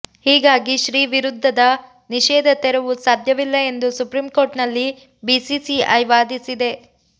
ಹೀಗಾಗಿ ಶ್ರೀ ವಿರುದ್ಧದ ನಿಷೇಧ ತೆರವು ಸಾಧ್ಯವಿಲ್ಲ ಎಂದು ಸುಪ್ರೀಂ ಕೋರ್ಟ್ನಲ್ಲಿ ಬಿಸಿಸಿಐ ವಾದಿಸಿದೆ